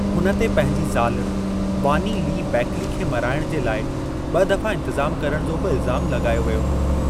हुन ते पंहिंजी ज़ाल बॉनी ली बैकली खे मराइणु जे लाइ ब॒ दफ़ो इंतिज़ामु करणु जो बि इल्ज़ामु लगा॒यो वियो हो।